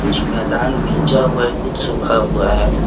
कुछ मैदान भींजा हुआ है कुछ सुखा हुआ है।